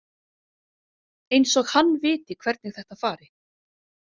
Eins og hann viti hvernig þetta fari.